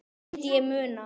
Þetta myndi ég muna!